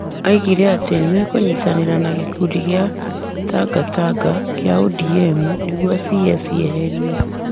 oigire atĩ nĩ mekũnyitanĩra na gĩkundi kĩa Tangatanga kĩa ODM nĩguo CS eherio.